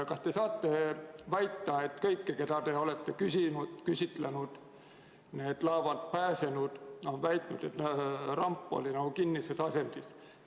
Kas te saate väita, et kõik need laevalt pääsenud, keda te olete küsitlenud, on öelnud, et ramp oli kinnises asendis?